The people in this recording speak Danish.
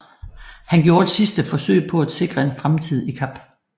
Han gjorde et sidste forsøg på at sikre en fremtid i Kap